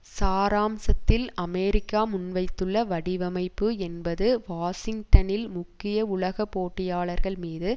சாராம்சத்தில் America முன்வைத்துள்ள வடிவமைப்பு என்பது வாஷிங்டனில் முக்கிய உலக போட்டியாளர்கள்மீது